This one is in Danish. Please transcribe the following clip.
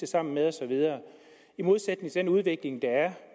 sammen med osv i modsætning til den udvikling der er